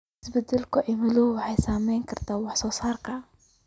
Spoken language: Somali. Isbeddelka cimiladu waxay saameyn kartaa wax soo saarka.